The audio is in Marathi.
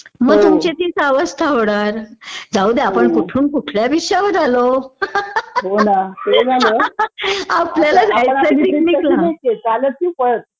मग तुमची तीच अवस्था होणार.जाऊदे आपण कुठून कुठल्या विषयावर आलो आपल्याला जायचंय पिकनिक ला